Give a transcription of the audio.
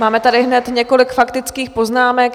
Máme tady hned několik faktických poznámek.